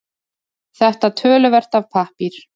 Þetta töluvert af pappír